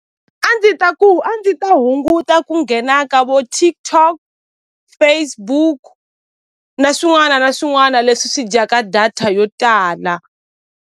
A ndzi ta ku a ndzi ta hunguta ku nghena ka vo TikTok Facebook na swin'wana na swin'wana leswi swi dyaka data yo tala.